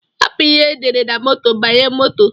Hapu ihe edere na moto banye moto.